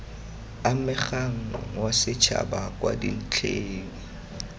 amegang wa setšhaba kwa dintlheng